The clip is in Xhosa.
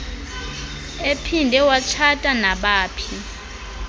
ephinde watshata nabaphi